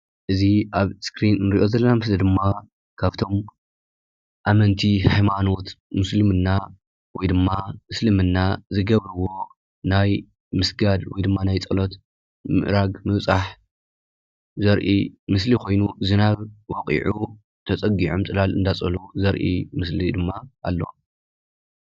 እዚ አብ እስክሪን ንሪኦ ዘለና ምስሊ ድማ ካብቶም አመንቲ ሃይማኖት ሙስሊም ወይድማ እስልምና ዝገብርዎ ናይ ምስጋድ ወይ ድማ ናይ ፀሎት ምእራግ ምብፃሕ ዘሪኢ ምስሊ ኮይኑ ዝናብ ወቂዑ ተፀጊዖም ፅላል እናፅለሉ ዘሪኢ ምስሊ ድማ አሎ።